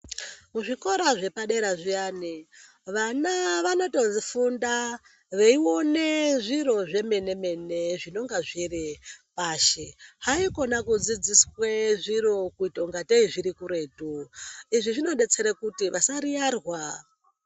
Zvikora zvepadera zviyani vana vanotofunda veyione zviro zvemene mene zvinonga zviri pashi haikona kudzidziswe zviro kuitangei zviri kuretu, izvi zvinobatsira kuti vasaiyarwa.